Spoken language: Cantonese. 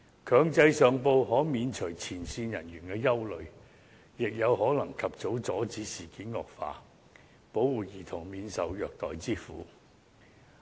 強制上報可免除前線人員的憂慮，亦有可能及早阻止事件惡化，保護兒童免受虐待之苦。